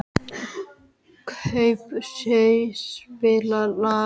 Kaprasíus, spilaðu lag.